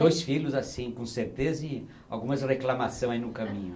Dois filhos, assim com certeza, e algumas reclamação aí no caminho.